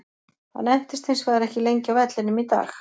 Hann entist hins vegar ekki lengi á vellinum í dag.